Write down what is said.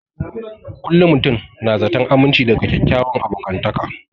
Kullum mutum na zaton aminci daga kyakkyawan abokantaka